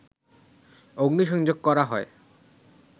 অগ্নিসংযোগ করা হয়